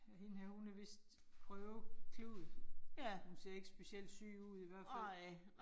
Ja hende her hun er vist prøveklud. Hun ser ikke specielt syg ud i hvert fald